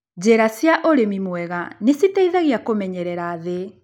Njĩra cia ũrĩmi mwega nĩciteithagia kũmenyerera thĩi.